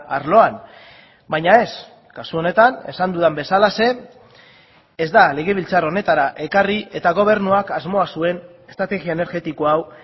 arloan baina ez kasu honetan esan dudan bezalaxe ez da legebiltzar honetara ekarri eta gobernuak asmoa zuen estrategia energetiko hau